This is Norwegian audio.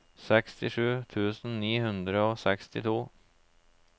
sekstisju tusen ni hundre og sekstito